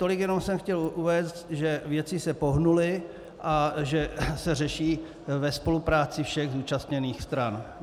Tolik jenom jsem chtěl uvést, že věci se pohnuly a že se řeší ve spolupráci všech zúčastněných stran.